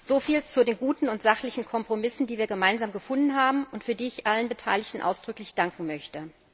Soviel zu den guten und sachlichen Kompromissen, die wir gemeinsam gefunden haben und für die ich allen Beteiligten ausdrücklich danken möchte.